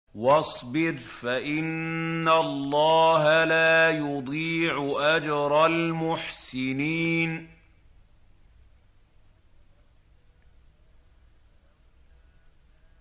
وَاصْبِرْ فَإِنَّ اللَّهَ لَا يُضِيعُ أَجْرَ الْمُحْسِنِينَ